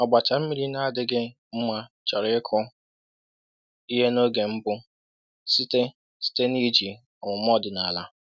“Ọgbacha mmiri na-adịghị mma chọrọ ịkụ ihe n’oge mbụ site site n’iji ọmụma ọdịnala.”